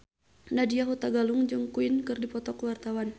Nadya Hutagalung jeung Queen keur dipoto ku wartawan